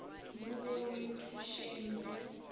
mo go re thušeng go